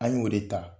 An y'o de ta